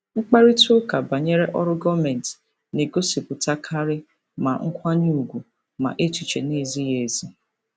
Mkparịta ụka banyere ọrụ gọọmentị na-egosipụtakarị ma nkwanye ùgwù ma echiche na-ezighị ezi.